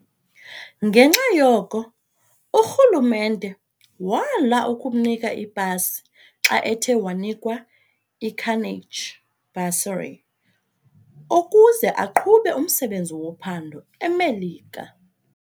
Ngenxa yoko, uRhulumente wala ukumnika ipasi xa ethe wanikwa iCarnegie bursary ukuze aqhube umsebenzi wophando eMelika.